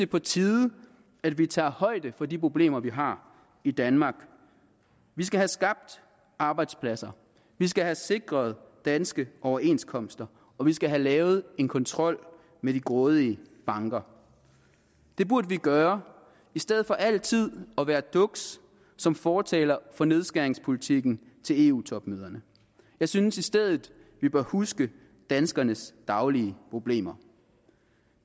på tide at vi tager højde for de problemer vi har i danmark vi skal have skabt arbejdspladser vi skal have sikret danske overenskomster og vi skal have lavet en kontrol med de grådige banker det burde vi gøre i stedet for altid at være dukse som fortalere for nedskæringspolitikken til eu topmøderne jeg synes i stedet at vi bør huske danskernes daglige problemer